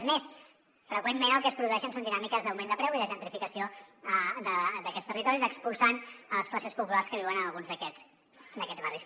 és més freqüentment el que es produeixen són dinàmiques d’augment de preu i de gentrificació d’aquests territoris expulsant les classes populars que viuen en alguns d’aquests barris